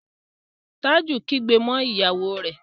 Taju kígbe mọ ìyàwó rẹ